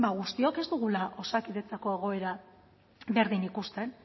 guztiok ez dugula osakidetzako egoera berdin ikusten